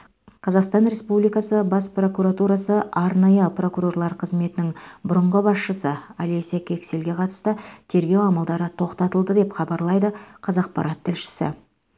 қазақстан республикасы бас прокуратурасы арнайы прокурорлар қызметінің бұрынғы басшысы олеся кексельге қатысты тергеу амалдары тоқтатылды деп хабарлайды қазақпарат тілшісі